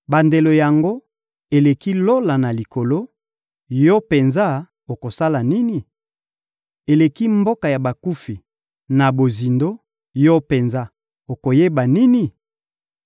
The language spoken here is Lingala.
Bandelo yango eleki Lola na likolo; yo penza okosala nini? Eleki mboka ya bakufi na bozindo; yo penza okoyeba nini?